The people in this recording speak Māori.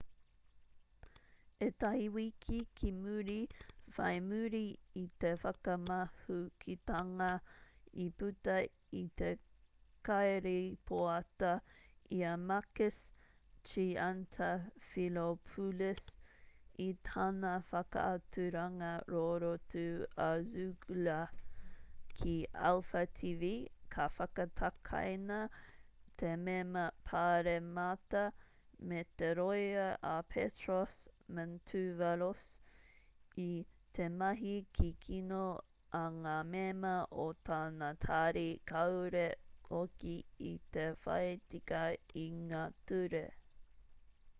ētahi wiki ki muri whai muri i te whakamahukitanga i puta i te kairīpoata i a makis triantafylopoulos i tana whakaaturanga rorotu a zoungla ki alpha tv ka whakatakaina te mema pāremata me te rōia a petros mantouvalos i te mahi kikino a ngā mema o tana tari kāore hoki i te whai tika i ngā ture